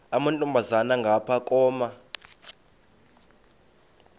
amantombazana ngapha koma